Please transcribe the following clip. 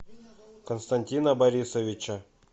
константина борисовича